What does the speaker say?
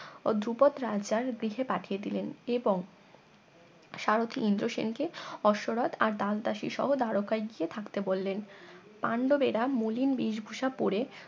ও ধ্রুপদ রাজার গৃহে পাঠিয়ে দিলেন এবং সারথী ইন্দ্র সেন কে অশ্যরথ আর দাসদাসী সহ দ্বারকায় গিয়ে থাকতে বললেন পান্ডবেরা মলিন বেশ ভূষা পরে